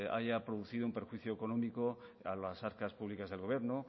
haya producido un perjuicio económico a las arcas públicas del gobierno